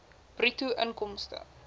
bruto inkomste